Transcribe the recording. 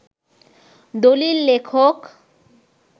দলিল লেখক